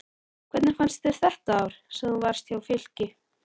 Hvernig fannst þér þetta ár sem þú varst hjá Fylki?